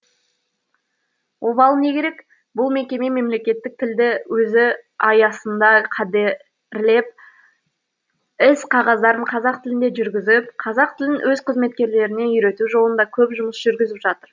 обалы не керек бұл мекеме мемлекеттік тілді өзі аясында қадірлеп іс қағаздарын қазақ тілінде жүргізіп қазақ тілін өз қызметкерлеріне үйрету жолында көп жұмыс жүргізіп жатыр